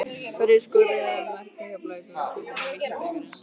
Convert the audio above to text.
Hverjir skoruðu mörk Keflvíkinga í úrslitum VISA-bikarsins?